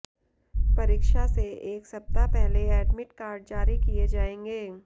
परीक्षा से एक सप्ताह पहले एडमिट कार्ड जारी किए जाएंगे